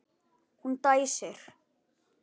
Hún dæsir.